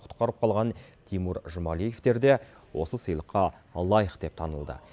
құтқарып қалған тимур жұмалиевтер де осы сыйлыққа лайық деп танылды